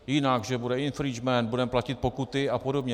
Jinak že bude infringement, budeme platit pokuty a podobně.